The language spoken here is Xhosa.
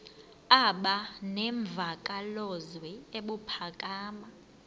aba nemvakalozwi ebuphakama